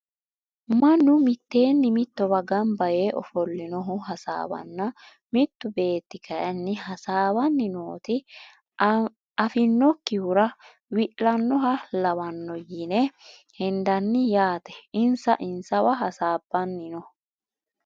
Mannu miteeni mitowa ganbba yee ofolinohu hasaawanna mitu beeti kayini hasaawani nooti afinokihura wi`lanoha lawano yine hendani yaate insa insaneewa hasabani no.